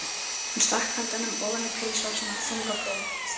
Hún stakk höndunum ofan í pilsvasana, þung á brún.